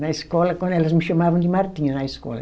Na escola, quando elas me chamavam de Martinha, na escola.